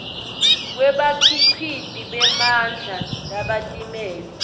kwebakhiciti bemandla labatimele